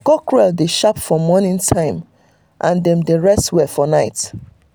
cockerel dey sharp for morning time and dem dey rest well for night.